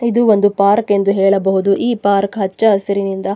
ಇದು ಒಂದು ಪಾರ್ಕ್ ಎಂದು ಹೇಳಬಹುದು ಈ ಪಾರ್ಕ್ ಹಚ್ಚ ಹಸಿರಿನಿಂದ --